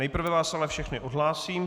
Nejprve vás ale všechny odhlásím.